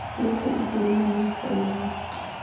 yotlhe e dirilwe mo difaeleng